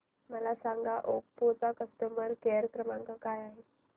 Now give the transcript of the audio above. मला सांगा ओप्पो चा कस्टमर केअर क्रमांक काय आहे